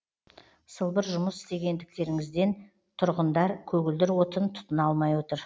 сылбыр жұмыс істегендіктеріңізден тұрғындар көгілдір отын тұтына алмай отыр